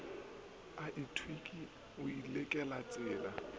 a tlhweki o le kelelatshila